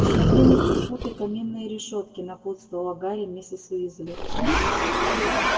и смотри не перепутай каминные решётки напутствовала гарри миссис уизли